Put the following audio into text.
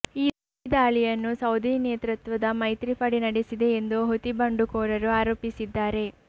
ಈ ದಾಳಿಯನ್ನು ಸೌದಿ ನೇತೃತ್ವದ ಮೈತ್ರಿ ಪಡೆ ನಡೆಸಿದೆ ಎಂದು ಹುತಿ ಬಂಡುಕೋರರು ಆರೋಪಿಸಿದ್ದಾರೆ